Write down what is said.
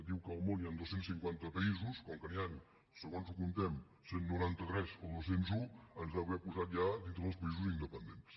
diu que al món hi han dos cents i cinquanta països com que n’hi han segons com ho comptem cent i noranta tres o dos cents i un ens deu haver posat ja dintre dels països independents